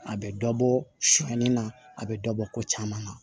A bɛ dɔ bɔ sɔɔni na a bɛ dɔ bɔ ko caman na